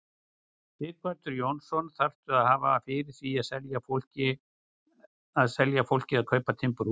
Sighvatur Jónsson: Þarftu að hafa fyrir því að selja fólki að kaupa timburhús?